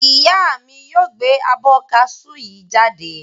Ìyá mi yóò gbẹ abọ́ ká sú yii jáde.